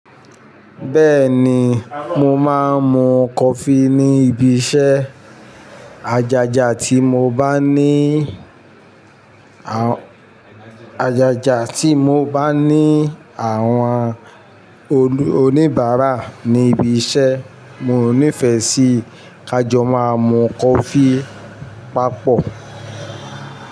Bẹ́ẹ̀ni, mo máa ń mu coffee ní ibiṣẹ́. Ajaja tí mo bá ní, ajaja tí mo bá ní àwọn oníbàárà ní ibiṣẹ́, mo nífẹ̀ẹ́ sí ká jọ máa mú coffee papọ̀